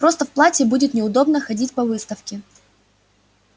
просто в платье будет неудобно ходить по выставке